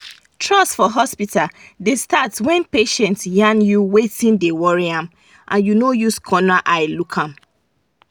trust for hospital da stat wen patient yan you wetin da worry am and u no use corner eye look am